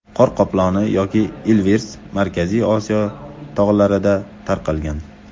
Qor qoploni yoki ilvirs, Markaziy Osiyo tog‘larida tarqalgan.